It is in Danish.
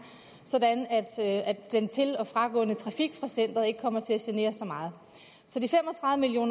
så den til og fragående trafik fra centeret ikke kommer til at genere så meget så de fem